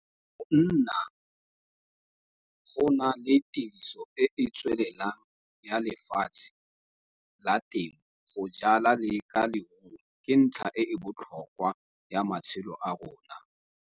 Go nna gona le tiriso e e tswelelang ya lefatshe la temo go jala le ka leruo ke ntlha e e botlhokwa ya matshelo a rona.